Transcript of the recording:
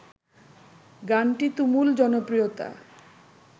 গানটি তুমুল জনপ্রিয়তা